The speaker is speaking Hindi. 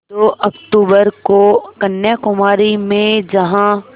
दो अक्तूबर को कन्याकुमारी में जहाँ